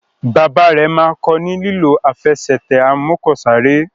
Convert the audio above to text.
Bàbá rẹ má kò ní lilọ Àfẹsẹ̀tẹ̀ amọ́kọ̀sáré.